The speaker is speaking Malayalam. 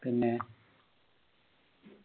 പിന്നെ